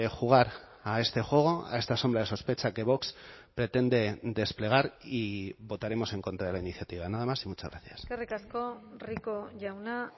jugar a este juego a esta sombra de sospecha que vox pretende desplegar y votaremos en contra de la iniciativa nada más y muchas gracias eskerrik asko rico jauna